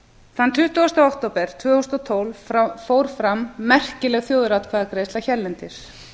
þann tuttugasta október tvö þúsund og tólf fór fram merkileg þjóðaratkvæðagreiðsla hérlendis